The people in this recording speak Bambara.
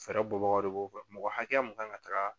Fɛɛrɛ bɔbagaw de b'o kɛ mɔgɔ hakɛya mun kan ka taga